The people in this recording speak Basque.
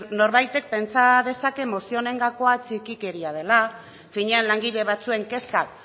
norbaitek pentsa dezake mozio honen gakoa txikikeria dela finean langile batzuen kezkak